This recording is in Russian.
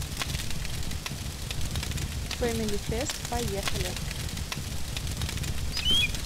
фэмилифест поехали